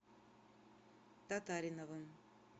татариновым